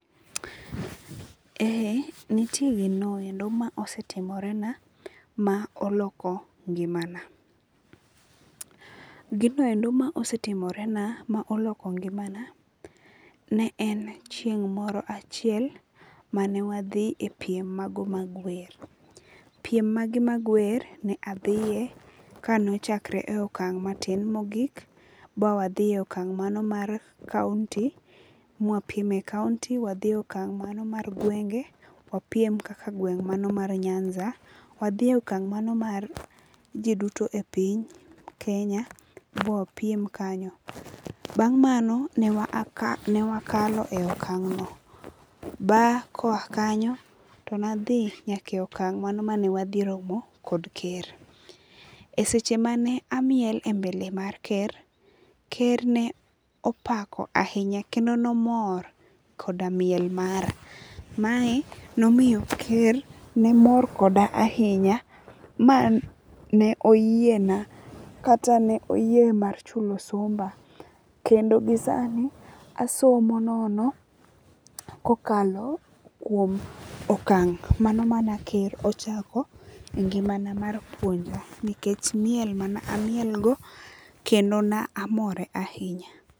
Nitie gino endo ma osetimore na ma oloko ngima na. Gino eno ma osetimore na ma oloko ngima na ne en chieng' moro achiel mane wadhi e piem mago mag wer. Piem mago mag wer ne adhiye kane ochakre e okang' matin mogi ba wadhiye okang' mano mar kaunti ma wapiem e kaunti wadhi okang' mano mar gwenge wapiem kaka gweng' mano mar Nyanza. Wadhiyo okang' mano mar ji duto e piny mar Kenya ma wapiem kanyo. Bang' mano ne wakalo e okang' no. Bang' koa kanyo to nadhi nyaka e okang' mano mane wadhi romo kod ker. E seche mane amiel e mbele mar ker, ker ne opako ahinya kendo nomor koda miel mara. Mae nomiyo ker ne mor koda ahinya ma ne oyie na kata ne oyie mar chulo somba kendo gisani asomo nono kokalo kuom okang' mano mane ker ochako e ngima na mar puonja nikech miel mane amiel go kendo ne amore ahinya.